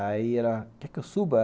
Aí ela, quer que eu suba?